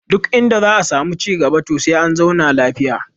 Duk inda za a samu ci cigaba to sai an zauna lafiya